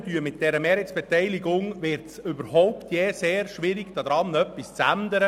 Mit dieser Mehrheitsbeteiligung wird es sehr schwierig, daran jemals etwas zu ändern.